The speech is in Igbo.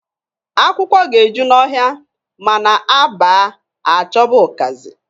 Akwụkwọ ga-eju n'ọhịa, ma na a baa, a chọba ụkazị.